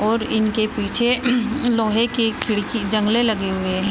और इनके पीछे लोहे की खिडकी जंगले लगे हुए है।